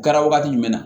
Kɛra wagati jumɛn na